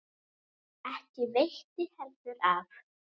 Ekki veitti heldur af.